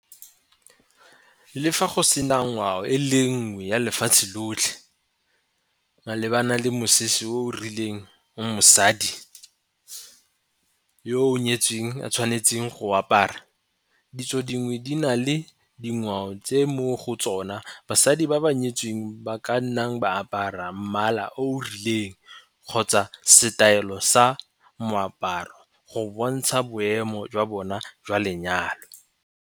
Le fa go sena ngwao e le nngwe ya lefatshe lotlhe malebana le mosese o rileng o mosadi yo o nyetseng a tshwanetseng go apara, ditso dingwe di na le dingwao tse mo go tsona basadi ba ba nyetseng ba ka nnang ba apara mmala o rileng kgotsa setaelo sa moaparo go bontsha boemo jwa bona jwa lenyalo.